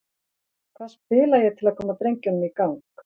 Hvað spila ég til að koma drengjunum í gang?